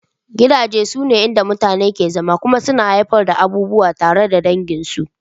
Gidaje sune inda mutane ke zama kuma suna haifar da abubuwan tunawa tare da danginsu